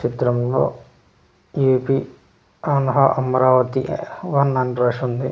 చిత్రంలో A P అన్ హ అమరావతి వన్ అని రాసుంది.